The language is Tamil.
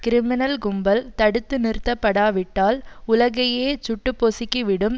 கிரிமினல் கும்பல் தடுத்து நிறுத்தப்படாவிட்டால் உலகையே சுட்டுப்பொசுக்கிவிடும்